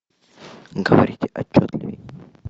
говорить отчетливей